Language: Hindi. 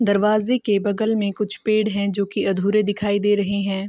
दरवाजे के बगल में कुछ पेड़ हैं जो की अधूरे दिखाई दे रहे हैं |